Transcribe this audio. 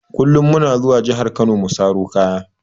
Kullum muna zuwa jahar kano mu saro kaya.